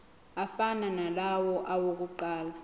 afana nalawo awokuqala